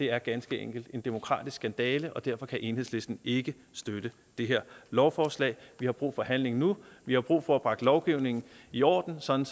er ganske enkelt en demokratisk skandale og derfor kan enhedslisten ikke støtte det her lovforslag vi har brug for handling nu vi har brug for at få bragt lovgivningen i orden sådan